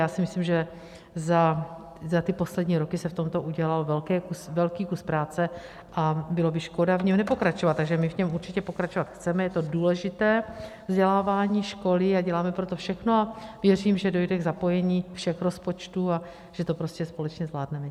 Já si myslím, že za ty poslední roky se v tomto udělal velký kus práce, a bylo by škoda v něm nepokračovat, takže my v něm určitě pokračovat chceme, je to důležité, vzdělávání, školy, děláme pro to všechno a věřím, že dojde k zapojení všech rozpočtu a že to prostě společně zvládneme.